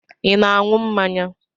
I na-aṅụ mmanya?